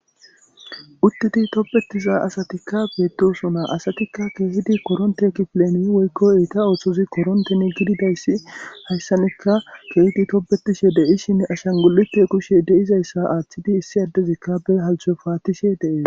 Uttidi tobetiza asatikka beetdosona asatikka keehidi koronte ekipileni woykkoy iita ooththozi koronten gididayssi hayssanikka keehidi topbetishe deishinne ashan gu'ikke kushshe deizayssa aaththidi issi addezikkabe halcho paatishe de'es